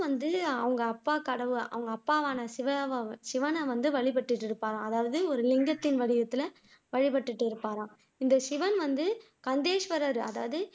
வந்து அவங்க அப்பா கடவுள் அவங்க அப்பாவான சிவா சிவனை வந்து வழிபட்டுட்டு இருப்பாராம் அதாவது ஒரு லிங்கத்தின் வடிவத்துல வழிபட்டுட்டு இருப்பாராம் இந்த சிவன் வந்து கந்தேஸ்வரர்